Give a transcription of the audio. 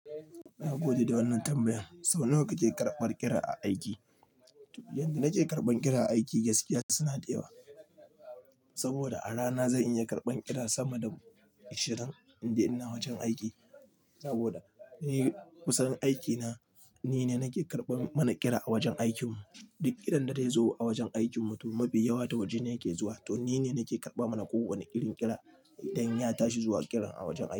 Na gode da wannan tambayan. Sau nawa kake karbar kira a aiki? Yanda nake karban kira a aiki, gaskiya suna da yawa. Saboda a rana zan iya karban kira sama da ashirin, in dai ina wajen aiki. Saboda ehh kussan aikina, nine nake karban mana kira a wajen aikin mu. Duk kirian da zai zo a wajen aikin mu, to mafi yawa ta waje ne yake zuwa. To nine nake karba mana kowane irin kira idan ya tashi zuwa kira a wajen aiki.